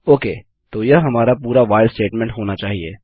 okay तो यह हमारा पूरा व्हाइल स्टेटमेंट होना चाहिए